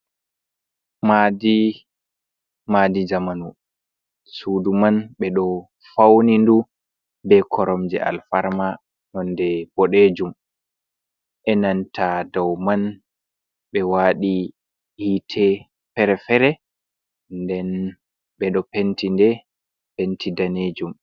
Maadi, maadi zamanu, sudu man ɓe ɗo fauni duu be koromje alfarma nonde boɗejum, e'nanta dow man ɓe waɗi hiite fere-fere, nden ɓe ɗo penti nde penti danejum.